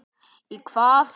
Í hvað?